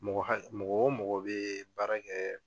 Mɔgɔ hakɛ mɔgɔ o mɔgɔ bɛ baara kɛ